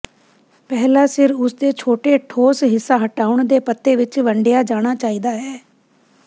ਪਹਿਲਾ ਸਿਰ ਉਸ ਦੇ ਛੋਟੇ ਠੋਸ ਹਿੱਸਾ ਹਟਾਉਣ ਦੇ ਪੱਤੇ ਵਿੱਚ ਵੰਡਿਆ ਜਾਣਾ ਚਾਹੀਦਾ ਹੈ